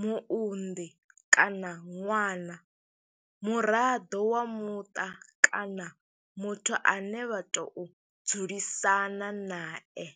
muunḓi kana ṅwana, muraḓo wa muṱa kana muthu ane vha tou dzulisana nae.